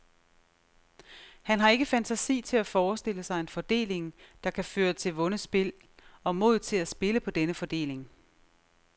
Han har ikke fantasi til at forestille sig en fordeling, der kan føre til vundet spil, og mod til at spille på denne fordeling.